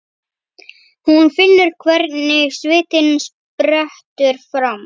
Hún finnur hvernig svitinn sprettur fram.